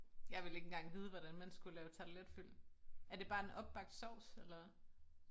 Jeg ville ikke engang vide hvordan man skulle lave tarteletfyld er det bare en opbagt sovs eller?